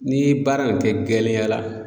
N'i ye baara in kɛ gɛlɛya la